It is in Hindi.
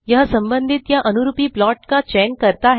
यह संबधित या अनुरूपी प्लाट का चयन करता है